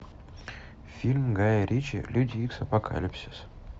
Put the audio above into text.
фильм гая ричи люди икс апокалипсис